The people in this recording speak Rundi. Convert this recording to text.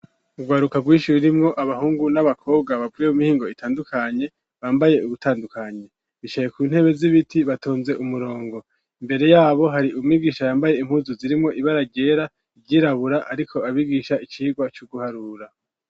Ugwaruka rwinshi rurimwo abahungu n'abakobwa bapvuye u mihingo itandukanye bambaye ugutandukanye bishaye ku ntebe z'ibiti batonze umurongo mbere yabo hari umibwisha yambaye impuzu zirimo ibaragera byirabura ariko abibgisha icigwa cy'uguharura.